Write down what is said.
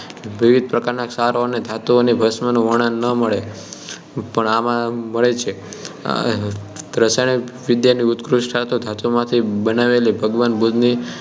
વિવિધ પ્રકારના ક્ષારો અને ધાતુઓની ભસ્મનું વર્ણન ન મળે પણ આમાં મળે જ છે રસાયણવિદ્યાની ઉત્કૃષ્ટતા તો ધાતુમાંથી બનાવેલી ભગવાન બુદ્ધની